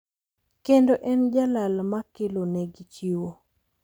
Kendo en e jal makelonegi chiwo